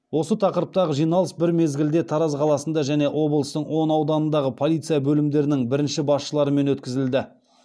осы тақырыптағы жиналыс бір мезгілде тараз қаласында және облыстың он ауданындағы полиция бөлімдерінің бірінші басшыларымен өткізілді